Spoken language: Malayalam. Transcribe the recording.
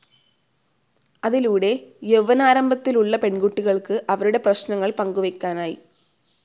അതിലൂടെ യൗവനാരംഭത്തിലുള്ള പെൺകുട്ടികൾക്ക് അവരുടെ പ്രശ്നങ്ങൾ പങ്കുവെക്കാനായി.